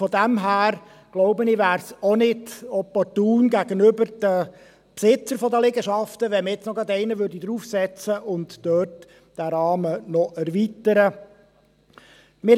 Daher, glaube ich, wäre es gegenüber den Besitzern der Liegenschaften auch nicht opportun, wenn man jetzt noch einen draufsetzen und dort den Rahmen erweitern würde.